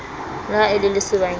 le ha e le lesobanyana